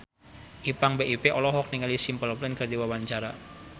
Ipank BIP olohok ningali Simple Plan keur diwawancara